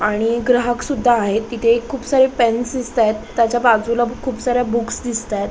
आणि ग्राहक सुद्धा आहेत तिथे खूप सारे पेन्स दिसताएत त्याच्या बाजूला खूप साऱ्या बुक्स दिसताएत.